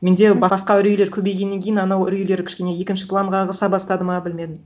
менде басқа үрейлер көбейгеннен кейін анау үрейлер кішкене екінші планға ығыса бастады ма білмедім